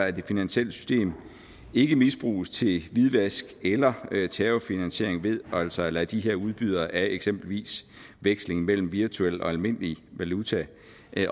at det finansielle system ikke misbruges til hvidvask eller terrorfinansiering ved altså at lade de her udbydere af eksempelvis veksling mellem virtuel og almindelig valuta